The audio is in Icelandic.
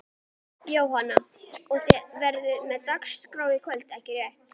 Jóhann: Og þið verðið með dagskrá í kvöld ekki rétt?